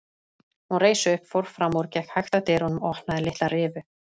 Hún reis upp, fór fram úr, gekk hægt að dyrunum og opnaði litla rifu.